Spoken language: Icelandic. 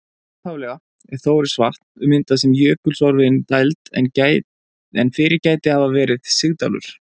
Upphaflega er Þórisvatn myndað sem jökulsorfin dæld en fyrir gæti hafa verið sigdalur.